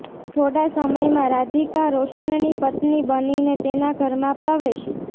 થોડા સમયમાં રાધિકા રોશનની પત્ની બનીને તેના ઘરમાં પ્રવેશી